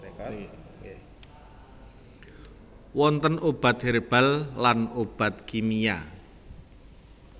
Wonten obat herbal lan obat kimia